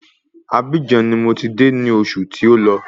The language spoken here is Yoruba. Abíjan ni mò ti de ní osù tí ó lọ